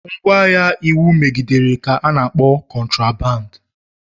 Ngwaahịa iwu megidere ka ana akpọ kotraband.